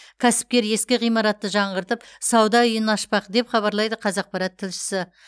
кәсіпкер ескі ғимаратты жаңғыртып сауда үйін ашпақ деп хабарлайды қазақпарат тілшісі